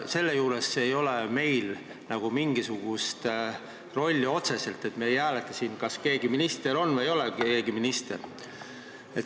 Meil ei ole selle juures mingisugust otsest rolli – me ei hääleta siin, kas keegi saab ministriks või ei saa.